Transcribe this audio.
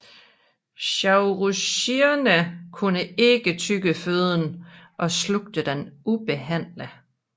Saurischierne kunne ikke tygge føden og slugte den ubehandlet